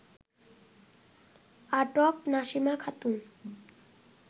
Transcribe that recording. আটক নাসিমা খাতুন